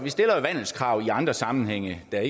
vandelskrav i andre sammenhænge da